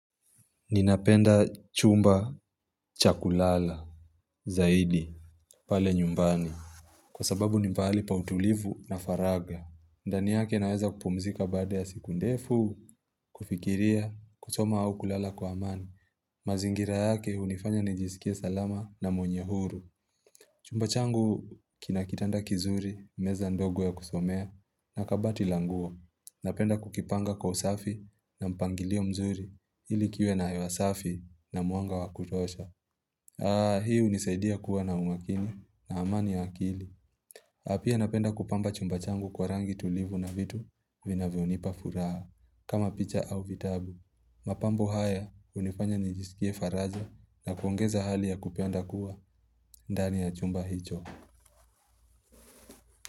Ninapenda chumba cha kulala, zaidi, pale nyumbani. Kwa sababu ni pahali pa utulivu na faragha. Ndani yake naweza kupumzika baada ya siku ndefu, kufikiria, kusoma au kulala kwa amani. Mazingira yake hunifanya nijisikie salama na mwenye huru. Chumba changu kina kitanda kizuri, meza ndogo ya kusomea, na kabati la nguo. Napenda kukipanga kwa usafi na mpangilio mzuri ili kiwe na hewa safi na mwanga wa kutosha. Hii hunisaidia kuwa na umakini na amani ya akili. Na pia napenda kupamba chumba changu kwa rangi tulivu na vitu vinavyonipa furaha kama picha au vitabu. Mapambo haya hunifanya nijisikie faraja na kuongeza hali ya kupenda kuwa ndani ya chumba hicho.